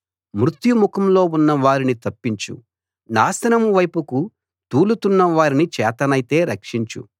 మృత్యు ముఖంలో ఉన్న వారిని తప్పించు నాశనం వైపుకు తూలుతున్న వారిని చేతనైతే రక్షించు